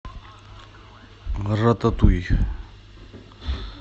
рататуй